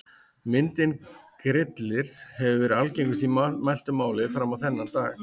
Myndin Grillir hefur verið algengust í mæltu máli fram á þennan dag.